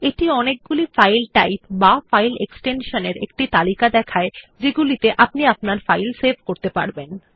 এটি অনেকগুলি file type বা ফাইল এক্সটেনশন এর একটি তালিকা দেখায় যাতে আপনি আপনার ফাইল সেভ করতে পারেন